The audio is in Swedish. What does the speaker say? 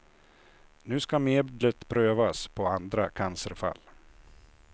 Nu ska medlet prövas på andra cancerfall.